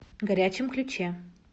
горячем ключе